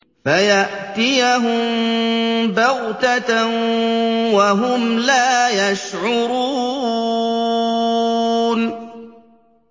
فَيَأْتِيَهُم بَغْتَةً وَهُمْ لَا يَشْعُرُونَ